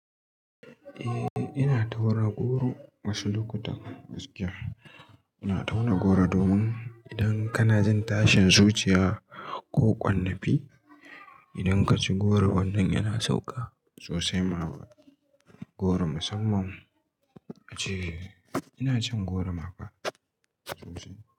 Eh, ina tauna goro, wasu lokutan gaskiya. Ina tauna goro domin idan kana jin tashin zuciya ko ƙwarnafi, idan kaci goro wannan yana sauka sosai ma goro, musamman ace, ina cin goro ma fa sosai.